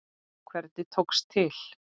Hvernig tókst til?